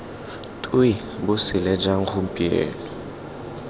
twe bo sele jang gompieno